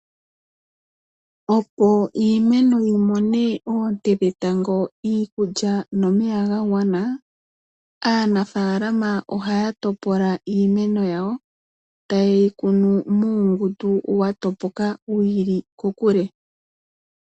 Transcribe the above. Opo iimeno yimone oonte dhetango, iikulya nomeya ga gwana aanafaalama ohaya topola iimeno yawo teyeyi kunu muungundu watopoka wi ili kokule.